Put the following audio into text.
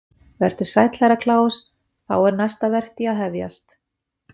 Sæll vertu Herra Kláus, þá er næsta vertí að hafjast.